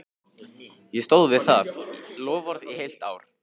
Ég stóð við það loforð í heilt ár.